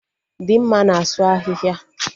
Dimma na-asụ ahịhịa